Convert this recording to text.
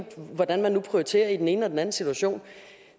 hvordan man nu prioriterer i den ene og den anden situation